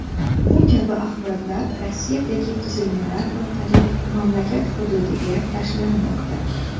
Bu kabi axborotlar Rossiyadagi tuzilmalar orqali mamlakat hududiga tashlanmoqda.